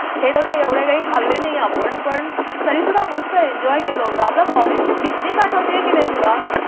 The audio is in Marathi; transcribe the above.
हे कसं एवढं काही खाल्ले नाही आपण पण तरीसुद्धा मस्त एन्जॉय केलं होतं. आपल्या कॉलेजची पिकनिक आठवते की नाही तुला?